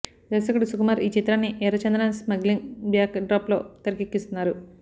దర్శకుడు సుకుమార్ ఈ చిత్రాన్ని ఎర్రచందనం స్మగ్లింగ్ బ్యాక్ డ్రాప్ లో తెరకెక్కిస్తున్నారు